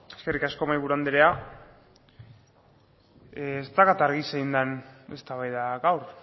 eskerrik asko mahaiburu anderea ez daukat argi zein den eztabaida gaur